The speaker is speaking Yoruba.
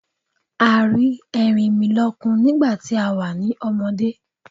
A rí Erinmilọ́kun nígbàtí a wà ní ọmọdé.